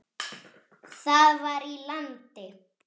Það var í landi